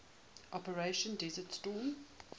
operation desert storm